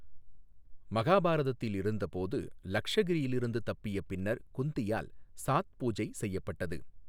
மகாபாரதத்தில் இருந்தபோது, லக்ஷகிரியில் இருந்து தப்பிய பின்னர் குந்தியால் சாத் பூஜை செய்யப்பட்டது.